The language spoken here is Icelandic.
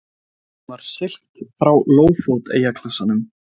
Honum var siglt frá Lófót eyjaklasanum.